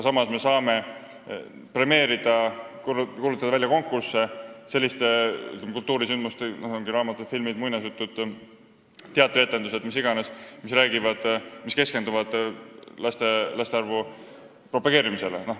Samas me saame neid premeerida ja kuulutada välja selliste kultuurisündmuste konkursse – muinasjutud, raamatud, filmid, teatrietendused, mis iganes –, mis keskenduvad laste arvu propageerimisele.